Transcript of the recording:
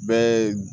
Bɛɛ